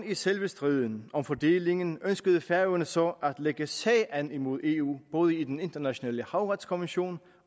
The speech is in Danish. i selve striden om fordelingen ønskede færøerne så at lægge sag an imod eu både i den internationale havretskommission